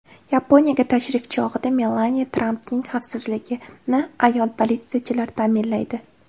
Yaponiyaga tashrif chog‘ida Melaniya Trampning xavfsizligini ayol politsiyachilar ta’minlaydi.